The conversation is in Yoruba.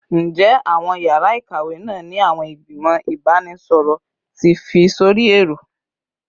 Njẹ awọn yara ikawe naa ni awọn igbimọ ibanisọrọ ti fi sori ẹrọ?